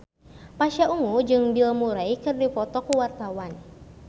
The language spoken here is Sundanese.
Pasha Ungu jeung Bill Murray keur dipoto ku wartawan